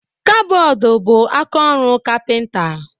Kabọọdụ bu akaọrụ kapinta